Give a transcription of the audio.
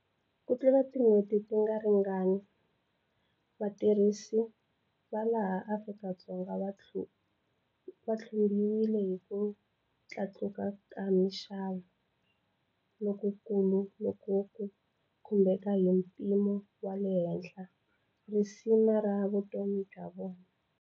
Kutlula tin'hweti tingaritingani, vatirhisi va laha Afrika-Dzonga va tlumbiwile hi ku tlakuka ka mixavo lokukulu loku ku khumbeke hi mpimo wa le henhla risima ra vutomi bya vona.